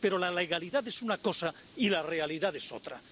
Pero la legalidad es una cosa y la realidad es otra.